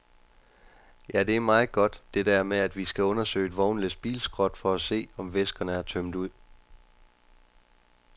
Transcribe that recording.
Ja, det er meget godt, det der med at vi skal undersøge et vognlæs bilskrot for at se, om væskerne er tømt ud.